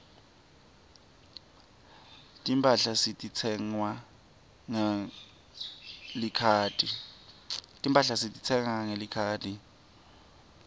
timphahla setitsengwa ngelikhadi